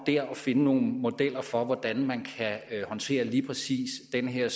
at finde nogle modeller for hvordan man kan håndtere lige præcis den her